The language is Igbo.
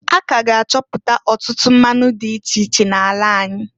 A k'aga achọpụtọ ọtụtụ mmanụ dị iche iche n'ala anyị.